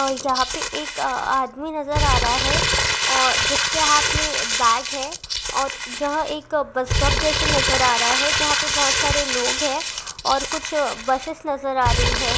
और यहाँ पे एक आदमी नजर आ रहा है जिसके हाथ में बैग है और यह एक बस स्टॉप जैसे नजर आ रहा हैं जहाँ पे बहुत सारे लोग है और कुछ बस नजर आ रही हैं।